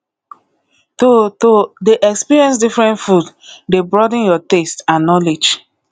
to to dey experience different food dey broaden your taste and knowledge